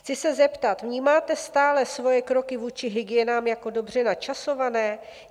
Chci se zeptat: Vnímáte stále svoje kroky vůči hygienám jako dobře načasované?